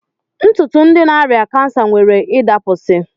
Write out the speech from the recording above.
Ntụtụ ndi na-arịa ọrịa kansa nwere ịdapụsị